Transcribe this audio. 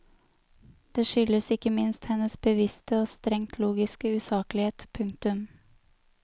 Det skyldes ikke minst hennes bevisste og strengt logiske usaklighet. punktum